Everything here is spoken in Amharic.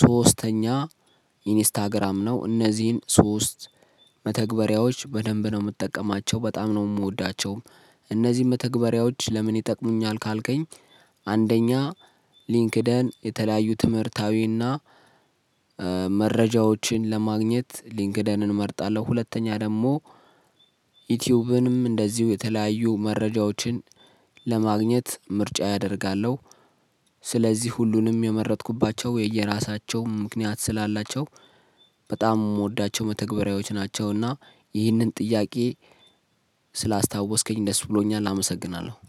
ሶስተኛ ኢንስታግራም ነው እነዚህን ሶስት መተግበሪያዎች በደንብ ነው የምትጠቀማቸው በጣም ነው የምወዳቸው እነዚህ መተግበሪያዎች ለምን ይጠቅሙኛል ካልከኝ አንደኛ ሊንክዲን የተለያዩ ትምህርታዊ እና መረጃዎችን ለማግኘት ሊንክዲንን እመርጣለሁ። ሁለተኛ ደግሞ ዩቲዩብንም እንደዚሁ የተለያዩ መረጃዎችን ለማግኘት ምርጫዬ አደርጋለሁ ስለዚህ ሁሉንም የመረጥኩባቸው የየራሳቸው ምክንያት ስላላቸው በጣም የምወዳቸው መተግበሪያዎች ናቸውና ይህንን ጥያቄ ስላስታወስከኝ ደስ ብሎኛል። አመሰግናለሁ።